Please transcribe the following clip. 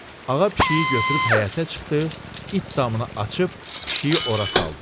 Ağa pişiyi götürüb həyətə çıxdı, itdammını açıb pişiyi ora saldı.